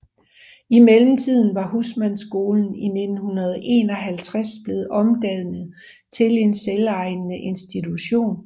I mellemtiden var Husmandsskolen i 1951 blevet omdannet til en selvejende institution